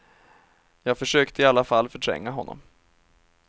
Jag försökte i alla fall förtränga honom.